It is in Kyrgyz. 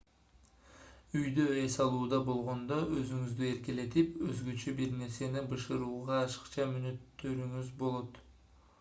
үйдө эс алууда болгондо өзүңүздү эркелетип өзгөчө бир нерсени бышырууга ашыкча мүнөттөрүңүз болот